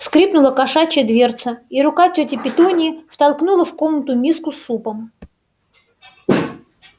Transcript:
скрипнула кошачья дверца и рука тёти петуньи втолкнула в комнату миску с супом